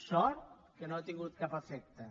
sort que no ha tingut cap efecte